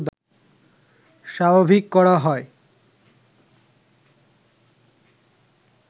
স্বাভাবিক করা হয়